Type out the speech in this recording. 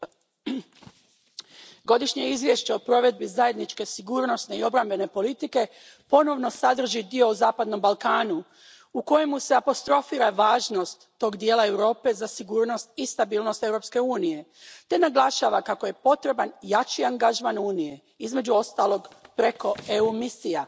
Poštovana predsjedavajuća, Godišnje izvješće o provedbi zajedničke sigurnosne i obrambene politike ponovno sadrži dio o zapadnom Balkanu, u kojemu se apostrofira važnost tog dijela Europe za sigurnost i stabilnost Europske unije te naglašava kako je potreban jači angažman Unije, između ostaloga, preko EU misija.